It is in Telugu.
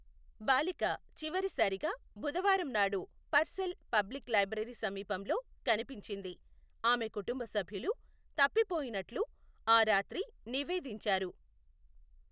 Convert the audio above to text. బాలిక చివరిసారిగా బుధవారం నాడు పర్సెల్ పబ్లిక్ లైబ్రరీ సమీపంలో కనిపించింది, ఆమె కుటుంబ సభ్యులు, తప్పిపోయినట్లు ఆ రాత్రి నివేదించారు.